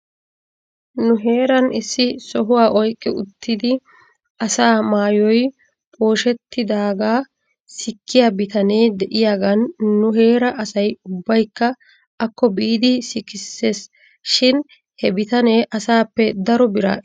Nu heeran issi sohuwaa oyqqi uttidi asaa maayoy pooshshettidaagaa sikkiyaa bitane de'iyaagan nu heeraa asay ubaykka akko biidi sikisses shin he bitanee asaappe daro biraa ekkiishsha?